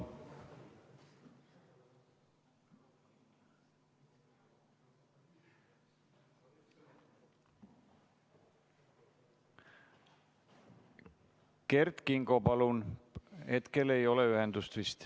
Kert Kingo, palun!